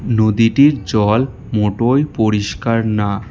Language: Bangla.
নদীটির জল মোটয় পরিষ্কার না।